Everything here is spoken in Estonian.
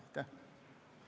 Aitäh!